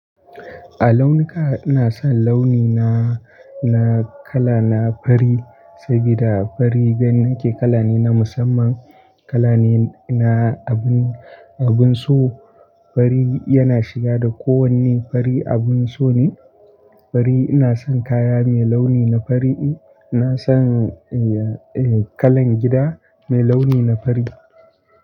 A launuka ina son launi na, na kala na fari sabida fari banake kala ne na musamman kala ne na abun, abun so. Fari yana shiga da ko wanne, fari abun so ne. Fari ina son kaya mai launi na fari. Ina son, eh, eh kalan gida mai launi na fari.